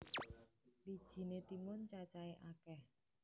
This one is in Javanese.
Wijiné timun cacahé akèh